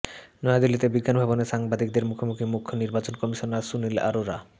নয়াদিল্লিতে বিজ্ঞান ভবনে সাংবাদিকদের মুখোমুখি মুখ্য নির্বাচন কমিশনার সুনীল অরোরা